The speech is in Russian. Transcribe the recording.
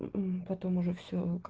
мм потом уже все как